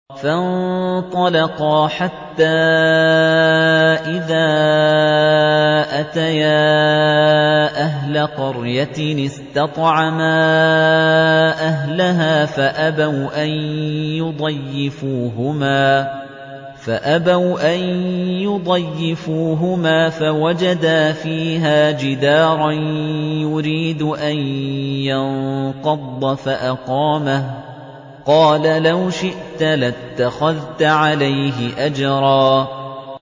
فَانطَلَقَا حَتَّىٰ إِذَا أَتَيَا أَهْلَ قَرْيَةٍ اسْتَطْعَمَا أَهْلَهَا فَأَبَوْا أَن يُضَيِّفُوهُمَا فَوَجَدَا فِيهَا جِدَارًا يُرِيدُ أَن يَنقَضَّ فَأَقَامَهُ ۖ قَالَ لَوْ شِئْتَ لَاتَّخَذْتَ عَلَيْهِ أَجْرًا